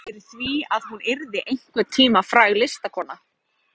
Ekki óraði mig fyrir því að hún yrði einhvern tíma fræg listakona.